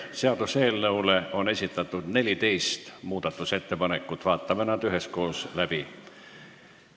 Seaduseelnõu kohta on esitatud 14 muudatusettepanekut, vaatame need üheskoos läbi.